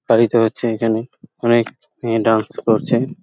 পালিত হচ্ছে এখানে অনেক এ ডান্স করছে--